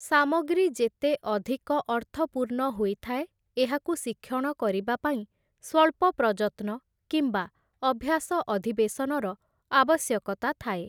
ସାମଗ୍ରୀ ଯେତେ ଅଧିକ ଅର୍ଥପୂର୍ଣ୍ଣ ହୋଇଥାଏ ଏହାକୁ ଶିକ୍ଷଣ କରିବା ପାଇଁ ସ୍ଵଳ୍ପ ପ୍ରଯତ୍ନ କିମ୍ବା ଅଭ୍ୟାସ ଅଧିବେଶନର ଆବଶ୍ୟକତା ଥାଏ ।